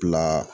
Bila